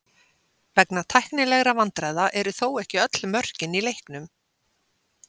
Vegna tæknilegra vandræða eru þó ekki öll mörkin í leiknum.